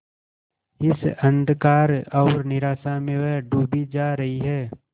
इस अंधकार और निराशा में वह डूबी जा रही है